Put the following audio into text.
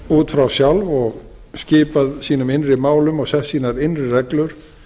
út frá sjálf og skipað sínum innri málum og sett sínar innri reglur